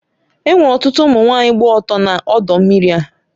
E nwere ọtụtụ ụmụ nwanyị gba ọtọ na ọdọ mmiri a